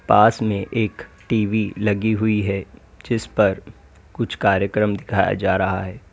पास में एक टी_वी लगी हुई है जिसपर कुछ कार्यक्रम दिखाया जा रहा है।